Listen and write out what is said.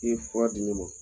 I ye fura di ne ma.